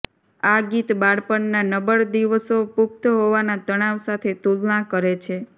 આ ગીત બાળપણના નબળ દિવસો પુખ્ત હોવાના તણાવ સાથે તુલના કરે છે